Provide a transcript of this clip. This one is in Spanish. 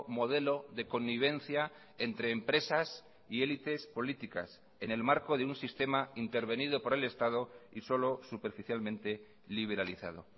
modelo de connivencia entre empresas y élites políticas en el marco de un sistema intervenido por el estado y solo superficialmente liberalizado